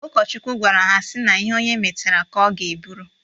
Ụkọchukwu gwara ha sị na ihe onye metara ka ọ ga-eburu